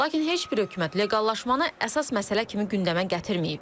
Lakin heç bir hökumət leqallaşmanı əsas məsələ kimi gündəmə gətirməyib.